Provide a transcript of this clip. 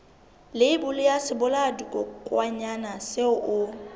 leibole ya sebolayakokwanyana seo o